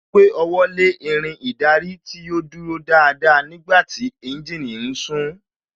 Ó gbé ọwọ́ lé Irin ìdarí tí ó dúró dáadáa nígbàtí tí ẹ́ńjìnì ń sún